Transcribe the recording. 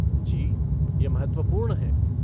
जी, यह महत्वपूर्ण है।